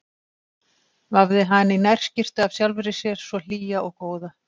Vafði hana í nærskyrtu af sjálfri sér svo hlýja og góða.